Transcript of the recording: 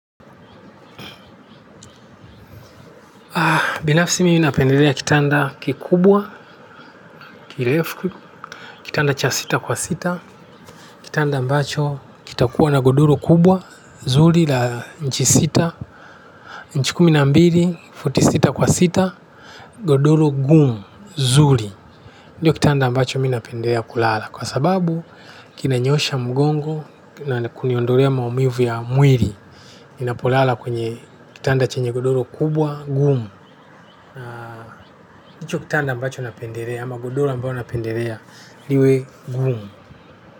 Binafsi, mimi napendelea kitanda kikubwa, kirefu, kitanda cha futi sita kwa sita, kitanda ambacho kitakuwa na godoro kubwa, zuri, la nchi sita, nchi kumi na mbili, futi sita kwa sita, godoro gumu, zuri. Ndiyo, kitanda ambacho ninapendelea kulala kwa sababu kinanyoosha mgongo na kuniondolea maumivu ya mwili. Ninapolala kwenye kitanda chenye godoro kubwa gumu. Ndicho kitanda ambacho napendelea ama godoro ambayo napendelea liwe gumu.